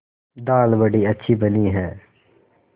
दाल बड़ी अच्छी बनी है